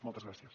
moltes gràcies